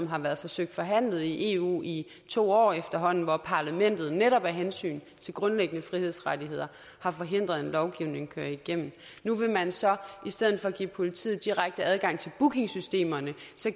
har været forsøgt forhandlet i eu i to år efterhånden hvor parlamentet netop af hensyn til grundlæggende frihedsrettigheder har forhindret at køre en lovgivning igennem nu vil man så i stedet for give politiet direkte adgang til bookingsystemerne